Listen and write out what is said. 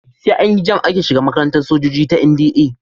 Sai an yi JAMB ake shiga makarantar sojoji ta NDA.